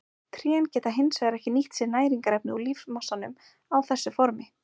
Trén geta hins vegar ekki nýtt sér næringarefni úr lífmassanum á þessu formi.